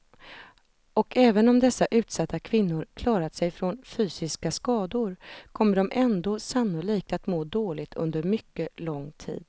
Och även om dessa utsatta kvinnor klarat sig från fysiska skador kommer de ändå sannolikt att må dåligt under mycket lång tid.